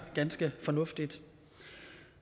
ganske fornuftigt